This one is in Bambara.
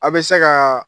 A' bɛ se ka